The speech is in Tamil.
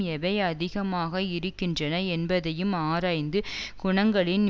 எவை அதிகமாக இருக்கின்றன என்பதையும் ஆராய்ந்து குணங்களின்